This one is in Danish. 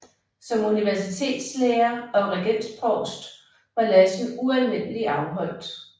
Som Universitetslærer og Regensprovst var Lassen ualmindelig afholdt